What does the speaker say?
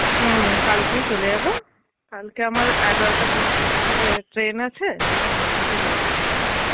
হম কালকেই চলে যাবো. কালে আমার এগারোটা train আছে. কালকে যাবো.